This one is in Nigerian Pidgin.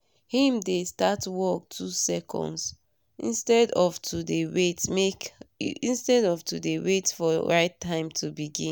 him dey start work 2 seconds! instead of to dey wait for right time to begin